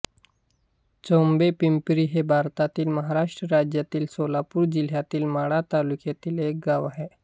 चोभेपिंपरी हे भारतातील महाराष्ट्र राज्यातील सोलापूर जिल्ह्यातील माढा तालुक्यातील एक गाव आहे